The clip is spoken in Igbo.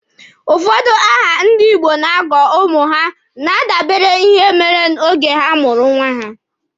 Ụfọdụ aha ndị Igbo na-agọ ụmụ ha na-adabere na ihe merenụ oge a mụrụ nwa ha.